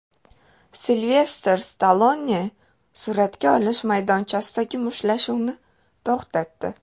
Silvestr Stallone suratga olish maydonchasidagi mushtlashuvni to‘xtatdi.